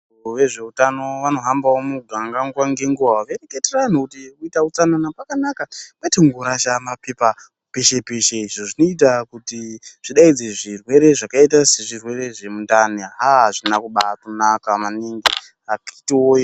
Wezvehutano vanohambawo muganga nguwa ngenguwa veireketera anhu kuti kuita utsananana kwakanaka kwete kungorasha mapepa peshe peshe, izvo zvinoita kuti zvidaidze zvirwere zvakaita sezvirwere zvemundani, haa hazvina kubatonaka maningi akiti woye.